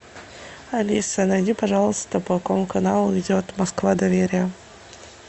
алиса найди пожалуйста по какому каналу идет москва доверие